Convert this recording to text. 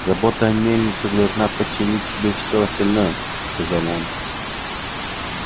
забота о мельнице должна подчинить себе всё остальное сказал он